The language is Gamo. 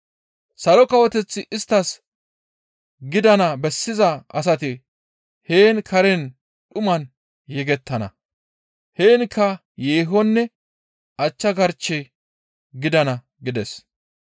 Salo Kawoteththi isttas gidana bessiza asati heen kare dhuman yegettana. Heenkka yeehonne achcha garccech gidana» gides.